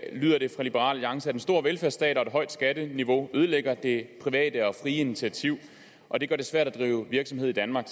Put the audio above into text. lyder det fra liberal alliance at en stor velfærdsstat og et højt skatteniveau ødelægger det private og frie initiativ og det gør det svært at drive virksomhed i danmark